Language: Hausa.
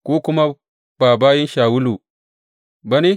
Ku kuma ba bayin Shawulu ba ne?